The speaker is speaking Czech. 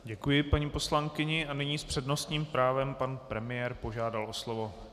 Děkuji paní poslankyni a nyní s přednostním právem pan premiér požádal o slovo.